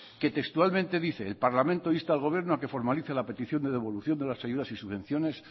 que textualmente dice el parlamento insta al gobierno a que formalice la petición de devolución de las ayudas y subvenciones